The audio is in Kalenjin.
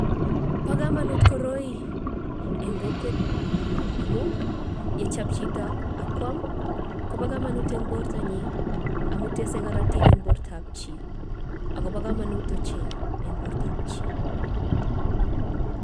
Bo kamanut koroi eng kokwenyun amun yechop chito ak kwaam kobo kamanut eng bortonyi amun tesei karotik eng bortoab chi akobo kamanut ochei eng bortoab chii.